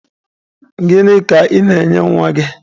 Gịnị ka ị na-enye nwa gị?